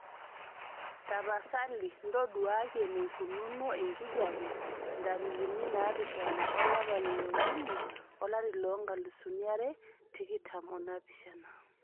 tapasali ntoduaki eneikununo enkijiape ntarikini naapishana olapa le leokuni olari loonkalisuni are tikitam onaapishana